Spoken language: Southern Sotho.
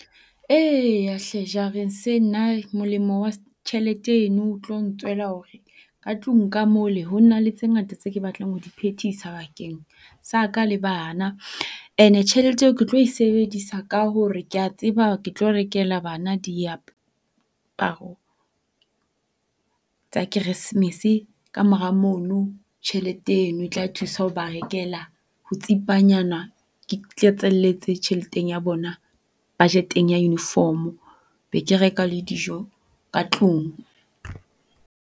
Eya hle molemo wa tjhelete eno o tlo ntswela hore ka tlung ka mole ho na le tse ngata tse ke batlang ho di phethisa bakeng sa ka le bana. Ene tjhelete eo ke tlo e sebedisa ka hore kea tseba, ke tlo rekela bana diaparo tsa Keresemese. Ka mora mono tjhelete eno e tla thusa ho ba rekela, ho tsipanyana ke tlatselletse tjheleteng ya bona budget-eng ya uniform-o. Be ke reka le dijo ka tlung.